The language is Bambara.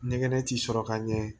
Ɲɛgɛnɛ t'i sɔrɔ ka ɲɛ